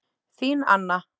Þín Anna.